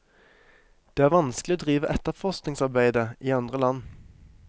Det er vanskelig å drive etterforskningsarbeide i andre land.